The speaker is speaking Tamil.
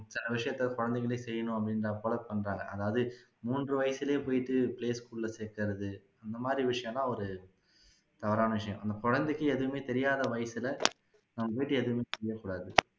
சில விஷயங்களை குழந்தைகளே செய்யணும் அப்படின்ற வந்துட்டாங்க அதாவது மூன்று வயசுலையே போயிட்டு play school ல சேக்குறது இந்த மாதிரி விஷயமெல்லாம் ஒரு தவறான விஷயம் அந்த குழந்தைக்கு துவுமே தெரியாத வயசுல நம்ம போயிட்டு எதுவுமே செய்ய கூடாது